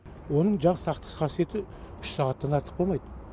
оның жақ сақтық қасиеті үш сағаттан артық болмайды